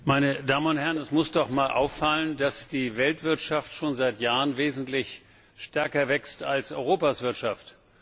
Herr Präsident, meine Damen und Herren! Es muss doch einmal auffallen, dass die Weltwirtschaft schon seit Jahren wesentlich stärker wächst als Europas Wirtschaft.